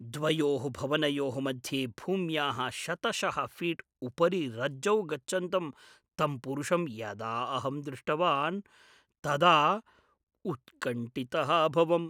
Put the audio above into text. द्वयोः भवनयोः मध्ये भूम्याः शतशः फीट् उपरि रज्जौ गच्छन्तं तं पुरुषं यदा अहं दृष्टवान् तदा उत्कण्ठितः अभवम्।